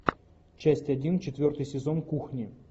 часть один четвертый сезон кухни